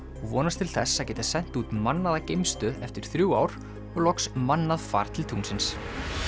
vonast til þess að geta sent út mannaða geimstöð eftir þrjú ár og loks mannað far til tunglsins